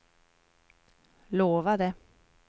lovade